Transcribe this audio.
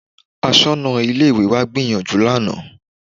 Aṣọ́nà Ilé-ìwé wa gbìyànjú lánàá